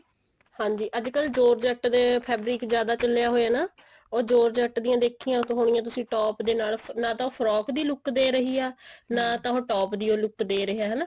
ਹਾਂਜੀ ਅੱਜਕਲ georgette ਦਾ fabric ਜਿਆਦਾ ਚੱਲਿਆ ਹੋਇਆ ਨਾ ਉਹ georgette ਦੀ ਦੇਖਿਆ ਹੋਣੀਆ ਤੁਸੀਂ top ਦੇ ਨਾਲ ਨਾ ਤਾ frock ਦੀ look ਦੇ ਰਹੀ ਹੈ ਨਾ ਤਾਂ ਉਹ top ਦੀ look ਦੇ ਰਿਹਾ ਹਨਾ